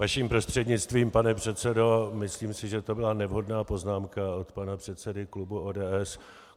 Vaším prostřednictvím pane předsedo, myslím si, že to byla nevhodná poznámka od pana předsedy klubu ODS.